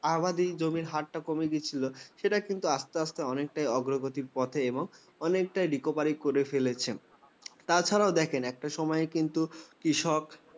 আবাদী জমির হারটা কমিয়ে দিচ্ছিল সেটা কিন্তু আস্তে আস্তে অনেকটাই অগ্রগতির পথে এবং অনেকটাই পুনরুদ্ধার করে ফেলেছেন। তা ছাড়াও দেখেন একটা সময় কিন্তু কৃষক